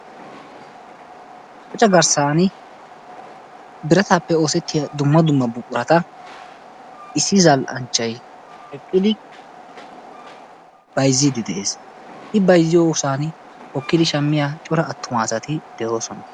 qocca garsani birataappe oosetiya dumma dumma buqurata issi zal'anchay eqidi bayzziidi de'ees, i bayzziyosan hokkidi shamiya cora attuma asati de'oosna.